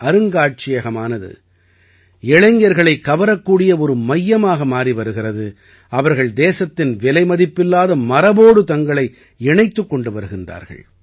அருங்காட்சியகமானது இளைஞர்களைக் கவரக்கூடிய ஒரு மையமாக மாறி வருகிறது அவர்கள் தேசத்தின் விலைமதிப்பில்லாத மரபோடு தங்களை இணைத்துக் கொண்டு வருகின்றார்கள்